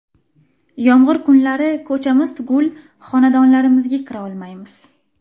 Yomg‘ir kunlari ko‘chamiz tugul, xonadonlarimizga kira olmaymiz.